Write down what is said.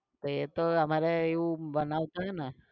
એતો અમરે એવું બનાવ થયું ને